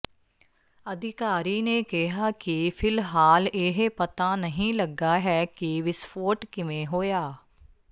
ਅਧਿਕਾਰੀ ਨੇ ਕਿਹਾ ਕਿ ਫ਼ਿਲਹਾਲ ਇਹ ਪਤਾ ਨਹੀਂ ਲੱਗਾ ਹੈ ਕਿ ਵਿਸਫੋਟ ਕਿਵੇਂ ਹੋਇਆ